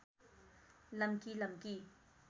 लम्की लम्की